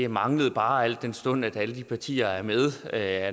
manglede al den stund at alle de partier der er med er